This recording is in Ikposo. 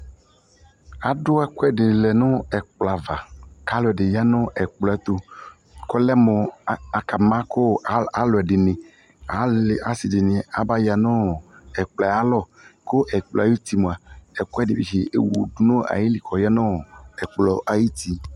Ado ɛkuɛde lɛ no ɛkplɔ ava ka alɔde ya ɛkplɔ ɛto kɔlɛ mo aka ma ko aluɛde neAle ase de ne aba ya no ɛkplɔ ayalɔ ko ɛllɔ ayutu moa ɛkuɛde tse wu do no ayili kɔya noɛkplɔ ayiti